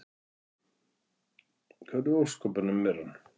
Hvar í ósköpunum er hann?